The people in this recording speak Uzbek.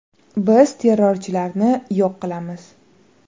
Biz terrorchilarni yo‘q qilamiz.